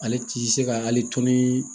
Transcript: Ale ti se ka hali tonni